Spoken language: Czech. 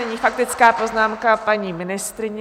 Nyní faktická poznámka paní ministryně.